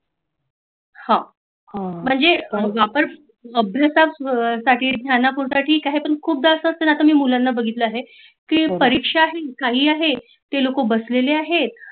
हां म्हणजे आपण साटी काही पण खुप जास्त लोकांना आता मी बघितल आहे की परिक्षा आहे खुप लोक बसलेली आहेत